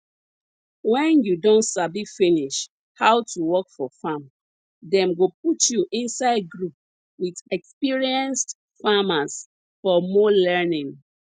wen you don sabi finish how to work for farm dem go put you inside group with experienced farmers for more learning